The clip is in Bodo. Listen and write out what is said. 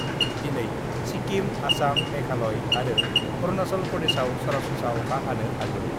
दिनै सिक्किम, आसाम, मेघालय आरो अरुनाचल प्रदेशआव सरासनस्रा अखा हानो हागौ।